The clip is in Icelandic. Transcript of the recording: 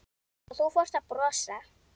Og þú fórst að brosa.